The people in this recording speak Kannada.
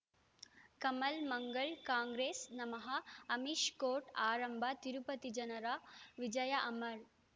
ಕಮಲ್ ಮಂಗಳ್ ಕಾಂಗ್ರೆಸ್ ನಮಃ ಅಮಿಷ್ ಕೋರ್ಟ್ ಆರಂಭ ತಿರುಪತಿ ಜನರ ವಿಜಯ ಅಮರ್